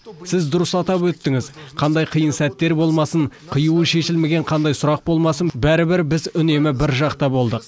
сіз дұрыс атап өттіңіз қандай қиын сәттер болмасын қиюы шешілмеген қандай сұрақ болмасын бәрібір біз үнемі бір жақта болдық